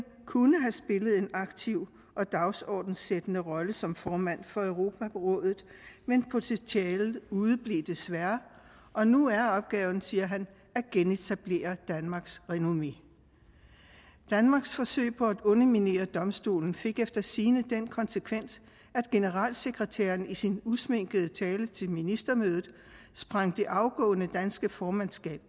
kunne have spillet en aktiv og dagsordenssættende rolle som formand for europarådet men potentialet udeblev desværre og nu er opgaven siger han at genetablere danmarks renommé danmarks forsøg på at underminere domstolen fik efter sigende den konsekvens at generalsekretæren i sin usminkede tale til ministermødet sprang det afgående danske formandskab